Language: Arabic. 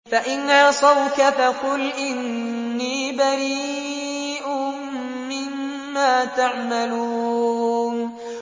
فَإِنْ عَصَوْكَ فَقُلْ إِنِّي بَرِيءٌ مِّمَّا تَعْمَلُونَ